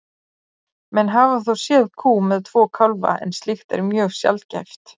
menn hafa þó séð kú með tvo kálfa en slíkt er mjög sjaldgæft